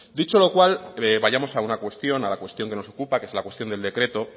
dicho lo cual vayamos a una cuestión a la cuestión que nos ocupa que es la cuestión del decreto